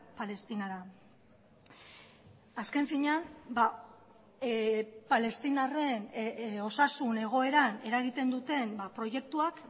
palestinara azken finean palestinarren osasun egoeran eragiten duten proiektuak